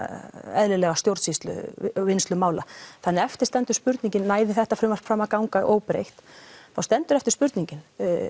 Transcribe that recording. eðlilega stjórnsýslu og úrvinnslu mála þannig að eftir stendur spurningin næði þetta frumvarp fram að ganga óbreytt þá stendur eftir spurningin